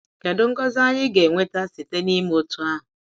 Kedu Ngọzi anyi ga-enweta site n’ime otú ahụ?